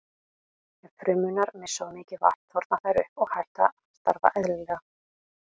Ef frumurnar missa of mikið vatn þorna þær upp og hætt að starfa eðlilega.